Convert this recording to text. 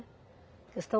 Questão